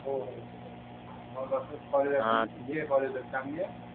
हो हो मग असेच कॉलेज असू तुहे कॉलज लाईफ चांगली हे